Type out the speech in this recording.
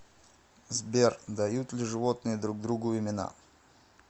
сбер дают ли животные друг другу имена